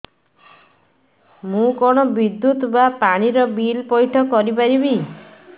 ମୁ କଣ ବିଦ୍ୟୁତ ବା ପାଣି ର ବିଲ ପଇଠ କରି ପାରିବି